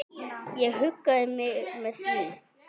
Ég huggaði mig með því.